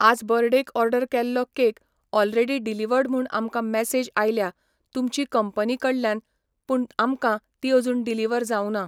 आज बर्डेक ओर्डर केल्लो केक ऑलरेडी डिलिवड म्हूण आमकां मेसेज आयल्यां तुमची कंपनी कडल्यान पूण आमकां ती अजून डिलीवर जावना.